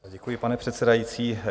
Děkuji, pane předsedající.